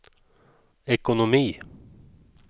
ekonomi